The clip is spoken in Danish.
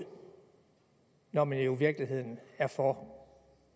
når man jo i virkeligheden er for